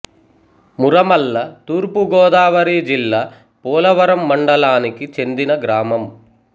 మురమళ్ళ తూర్పు గోదావరి జిల్లా ఐ పోలవరం మండలానికి చెందిన గ్రామం